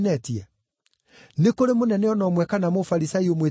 Nĩ kũrĩ mũnene o na ũmwe kana Mũfarisai ũmwĩtĩkĩtie?